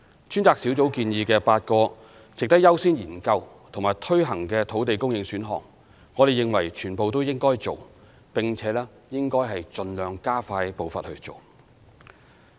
專責小組建議的8個值得優先研究和推行的土地供應選項，我們認為全部應該做，並且應該盡量加快步伐去做。